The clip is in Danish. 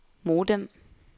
modem